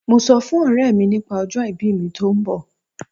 Mo sọ fún ọ̀rẹ́ mi nípa ọjọ ìbí mi tó ń bọ̀.